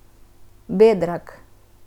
Bedrag.